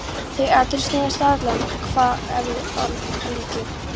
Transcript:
Þau atriði snerust aðallega um hvað hefði orðið af líki